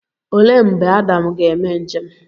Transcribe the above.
Olee mgbe Adam ga-eme njem?